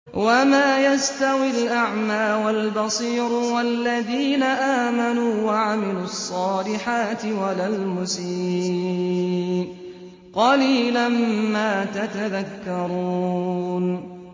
وَمَا يَسْتَوِي الْأَعْمَىٰ وَالْبَصِيرُ وَالَّذِينَ آمَنُوا وَعَمِلُوا الصَّالِحَاتِ وَلَا الْمُسِيءُ ۚ قَلِيلًا مَّا تَتَذَكَّرُونَ